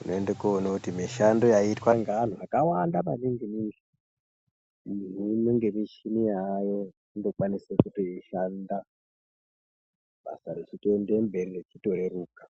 Unoende koone kuti mishando yaiitwa ngeanthu akawanda mainini-ningi, hino ngemichini yaayo, inokwanise kutoishanda, basa rechitoende mberi nekutoreruka.